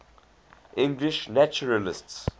english naturalists